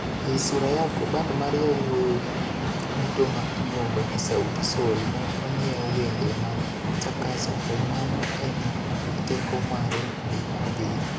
Ei Sura Yako, band mar yawuowi duto ma iluongo ni Sauti Sol ne onyiew wende mag Chakacha to mano e ma teko mare ne odhie.